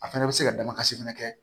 A fɛnɛ bɛ se ka damakasi fɛnɛ kɛ